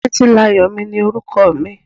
Títílayọ̀mi ni orúkọ mi.